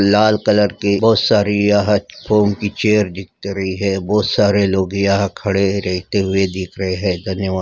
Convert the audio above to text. लाल colour के बहुत सारी यह फोम की चेयर दिख रही है। बहुत सारे लोग रहते हुए दिख रहे है। धन्यवाद।